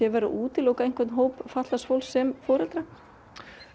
verið að útiloka einhvern hóp fatlaðs fólks sem foreldra